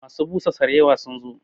Masu busa sarewa sun zo